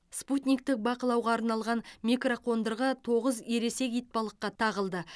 спутниктік бақылауға арналған микроқондырғы тоғыз ересек итбалыққа тағылды